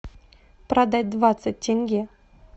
продать двадцать тенге